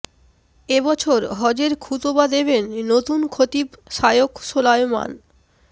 এ বছর হজের খুতবা দেবেন নতুন খতিব শায়খ সোলায়মান